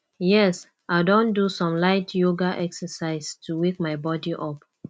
yes i don do some light yoga exercise to wake my body up